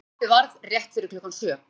Óhappið varð rétt fyrir klukkan sjö